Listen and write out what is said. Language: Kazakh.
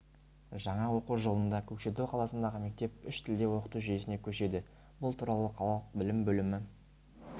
жаңа оқу жылында көкшетау қаласындағы мектеп үш тілде оқыту жүйесіне көшеді бұл туралы қалалық білім бөлімі